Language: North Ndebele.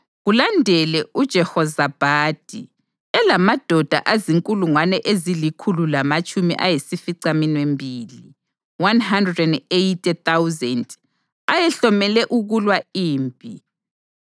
kulandele uJehozabhadi elamadoda azinkulungwane ezilikhulu lamatshumi ayisificaminwembili (180,000) ayehlomele ukulwa impi.